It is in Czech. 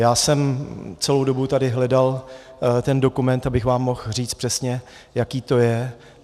Já jsem celou dobu tady hledal ten dokument, abych vám mohl říci přesně, jaké to je.